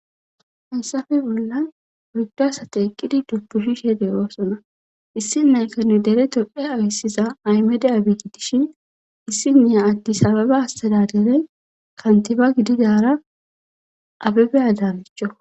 haysafe bolla yddo asate eqidi dubbuhi she de oosona issinne kanu dere topphe awyssiza aymede abigidishin issinneya addis ababe astadadere kantiba gididara abebe adanochoko